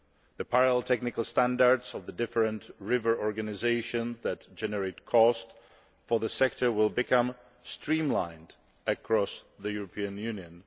The parallel technical standards of the different river organisations that generate costs for the sector will become streamlined across the European Union.